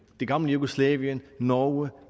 det gamle jugoslavien norge